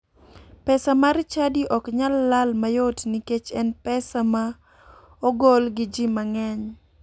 Pesa mar chadi ok nyal lal mayot nikech en pesa ma ogol gi ji mang'eny.